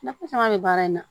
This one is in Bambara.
Nafa caman be baara in na